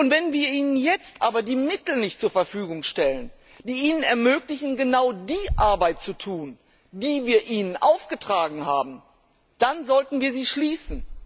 Wenn wir ihnen jetzt aber die Mittel nicht zur Verfügung stellen, die ihnen ermöglichen, genau die Arbeit zu tun, die wir ihnen aufgetragen haben, dann sollten wir sie schließen.